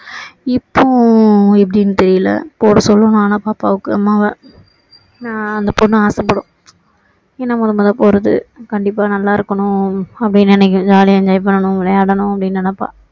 இப்போ எப்படின்னு தெரியல போட சொல்லணும் ஆனா பாப்பாவுக்கு அம்மாவ ஏன்னா அந்த பொண்ணு ஆசை படும் ஏன்னா முதல் முதல்ல போறது கண்டிப்பா நல்லா இருக்கணும் அப்பன்னு நினைக்கும் jolly யா enjoy பண்ணணும் விளையாடணும் அப்படின்னு நினைப்பா